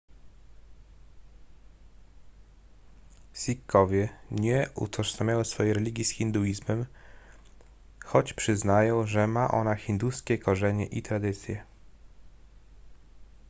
sikhowie nie utożsamiają swojej religii z hinduizmem choć przyznają że ma ona hinduskie korzenie i tradycje